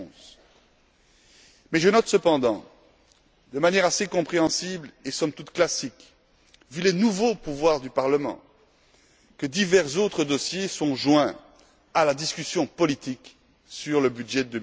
2011. Mais je note cependant, de manière assez compréhensible et somme toute classique, vu les nouveaux pouvoirs du Parlement, que divers autres dossiers sont joints à la discussion politique sur le budget